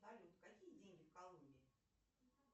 салют какие деньги в колумбии